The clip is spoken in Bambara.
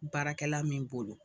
Baarakɛla min bolo